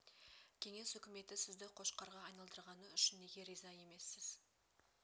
кеңес үкіметі сізді қошқарға айналдырғаны үшін неге риза емессіз